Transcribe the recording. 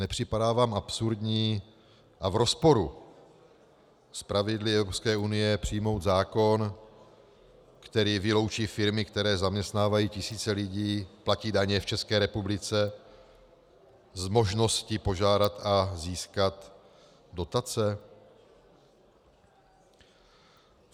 Nepřipadá vám absurdní a v rozporu s pravidly Evropské unie přijmout zákon, který vyloučí firmy, které zaměstnávají tisíce lidí, platí daně v České republice, z možnosti požádat a získat dotace?